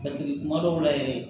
Paseke kuma dɔw la yɛrɛ